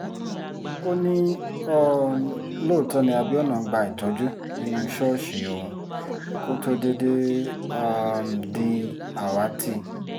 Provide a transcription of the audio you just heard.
ó ní um lóòótọ́ ni abiona ń gba ìtọ́jú nínú ṣọ́ọ̀ṣì òun kó tóó déédéé um di àwátì